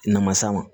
Namasa ma